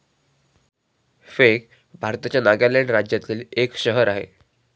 Fake भारताच्या नागालँड राज्यातील एक शहर आहे.